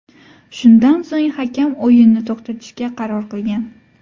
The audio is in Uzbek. Shundan so‘ng hakam o‘yinni to‘xtatishga qaror qilgan.